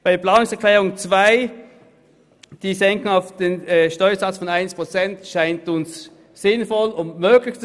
Zur Planungserklärung 2: Die Senkung des Zinses von 1 Prozent erscheint uns sinnvoll und möglich.